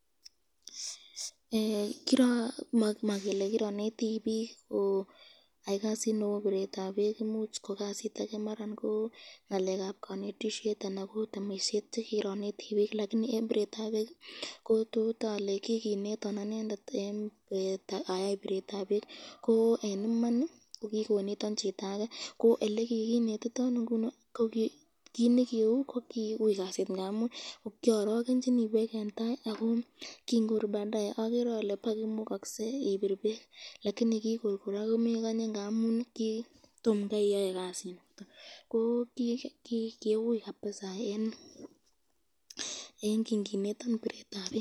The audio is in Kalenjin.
Makele kironeti bik koyai kasit nebo biretab bek imuch kokasit ake imuch ko kanetisyet anan ko temisyet choneti bik lakini eng biretab bek totale kikinetan anendet ayai biretab bek.